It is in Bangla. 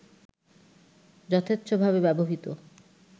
যথেচ্ছভাবে ব্যবহৃত